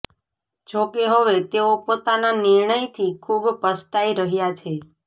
જોકે હવે તેઓ પોતાના નિર્ણયથી ખૂબ પસ્તાઇ કરી રહ્યાં છે